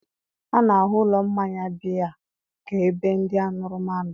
a na-ahụ ụlọ mmanya biya ka ebe ndị aṅụrụma nọ